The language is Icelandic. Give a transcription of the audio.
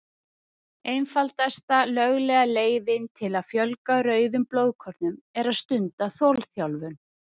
Einfaldasta löglega leiðin til að fjölga rauðum blóðkornum er að stunda þolþjálfun.